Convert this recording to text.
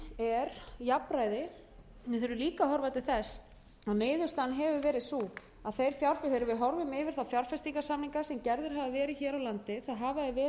er jafnræði við þurfum líka að horfa til þess að niðurstaðan hefur verið sú að þegar við horfum yfir þá fjárfestingarsamninga sem gerðir hafa verið hér á landi hafa þeir verið